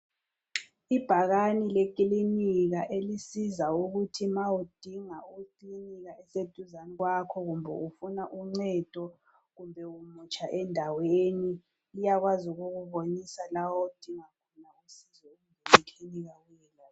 Ibhakane lekilinika elisiza ukuthi ma udinga ikilinika eseduzane kwakho, kumbe ufuna uncedo, kumbe umutsha endaweni, liyakwazi ukukubonisa la odinga khona, usizo lwekilinika.